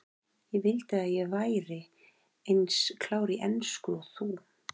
Ég vildi að ég væri eins klár í ensku og þú.